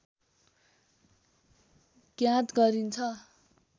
ज्ञात गरिन्छन्